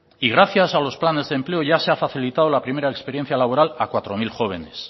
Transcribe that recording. y gracias a los planes de empleo ya se ha facilitado la primera experiencia laboral a cuatro mil jóvenes